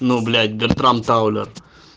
ну блять бертрам паулер